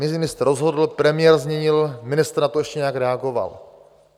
Ministr rozhodl, premiér změnil, ministr na to ještě nějak reagoval.